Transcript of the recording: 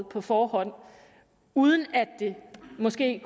på forhånd uden at det måske